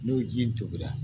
N'o ji tobira